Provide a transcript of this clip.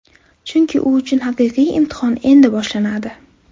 Chunki u uchun haqiqiy imtihon endi boshlanadi.